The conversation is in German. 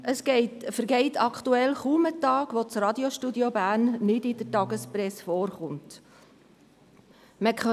Es vergeht aktuell kaum ein Tag, an dem das Radiostudio Bern nicht in der Tagespresse erwähnt wird.